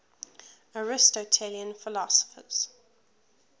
aristotelian philosophers